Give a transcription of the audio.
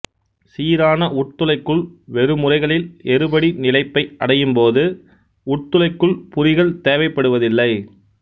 சீரான உட்துளைக்குள் வெறுமுறைகளில் எறிபடி நிலைப்பை அடையும்போது உட்துளைக்குள் புரிகள் தேவைப்படுவதில்லை